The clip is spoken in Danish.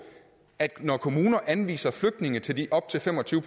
at når kommuner anviser flygtninge til de op til fem og tyve